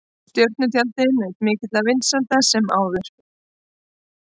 Stjörnutjaldið naut mikilla vinsælda sem fyrr.